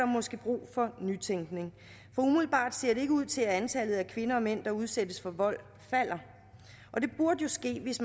måske brug for nytænkning for umiddelbart ser det ikke ud til at antallet af kvinder og mænd der udsættes for vold falder det burde jo ske hvis